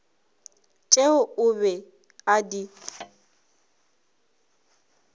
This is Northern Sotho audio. tšeo o be a di